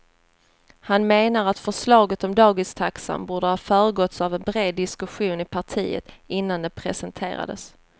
Han menar att förslaget om dagistaxan borde ha föregåtts av en bred diskussion i partiet innan det presenterades.